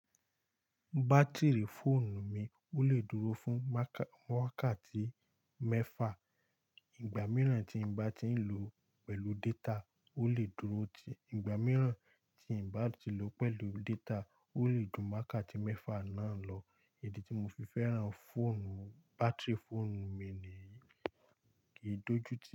Batiri fóònù mi ò lé dúró fún mákà, wákàtí mẹ́fà. Ìgbà mìíràn tí ń bá ti ń lò ó pẹ̀lú data, ó lè dúró tìí. Ìgbà mìíràn tí ń bá ti lò ó pẹ̀lú data, ó lè dùn mákàtí mẹ́fà náà lọ. Èdi tí mo fi fẹ́ràn fóònù, batiri fóònù mi ni yi kì í dojú tì.